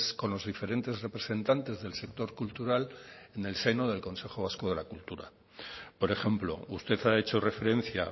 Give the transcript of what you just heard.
con los diferentes representantes del sector cultural en el seno del consejo vasco de la cultura por ejemplo usted ha hecho referencia